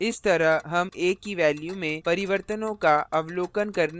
इस तरह हम a की value में परिवर्तनों का अवलोकन करने में सक्षम होंगे